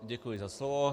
Děkuji za slovo.